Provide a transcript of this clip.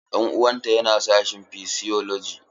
Ɗan uwan ta yana sashin physiology.